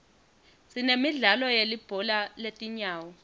sinemidlalo yelibhola letinyawo